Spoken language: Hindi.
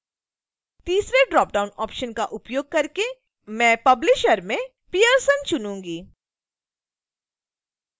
तीसरे ड्रॉपडाउन ऑप्शन का उपयोग करके मैं publisher में pearson चुनूँगी